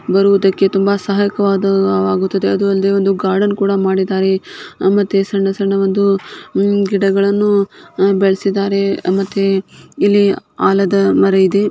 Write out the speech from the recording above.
ಇದು ಒಂದು ಟೂರಿಸ್ಬ್ ಪ್ರವಾಸ ಸ್ಥಳ ಅಕ್ಕ ಪಕ್ಕದಲಿ ಮರ ಗಿಡಗಳು ಇವೆ ನದಿ ತುಂಬಾ ನೀರು ಇದೆ ನೋಡಲು ತುಂಬಾ ಸುಂದರವಾಗಿದೆ.